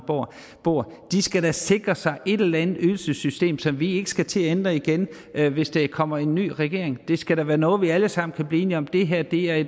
bor de skal da sikre sig et eller andet ydelsessystem som vi ikke skal til at ændre igen hvis der kommer en ny regering det skal da være noget vi alle sammen kan blive enige om nemlig at